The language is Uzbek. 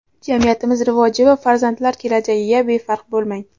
Jamiyatimiz rivoji va farzandlar kelajagiga befarq bo‘lmang!.